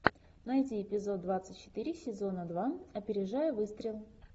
найди эпизод двадцать четыре сезона два опережая выстрел